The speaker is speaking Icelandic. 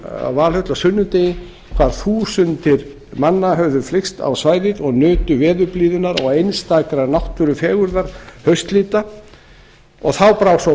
að valhöll á sunnudegi hvar þúsundir manna höfðu flykkst á svæðið og nutu veðurblíðunnar og einstakrar náttúrufegurðar haustlita og þá brá svo